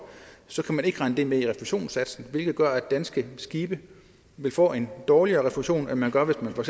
så kan man ikke regne det med i refusionssatsen hvilket gør at danske skibe vil få en dårligere refusion end man gør hvis man for